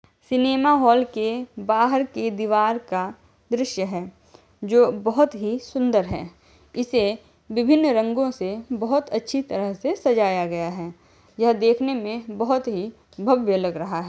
Cinema hall के बाहर के दीवार का दृश्य है जो बोहोत ही सुन्दर है इसे विभिन्न रंगों से बोहोत अच्छी तरह से सजाया गया है यह देखने में बोहोत ही भव्य लग रहा है।